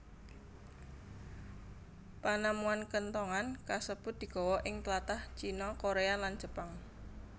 Panemuan kenthongan kasebut digawa ing tlatah China Korea lan Jepang